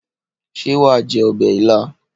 Ṣé wàá jẹ ọbẹ̀ ilá?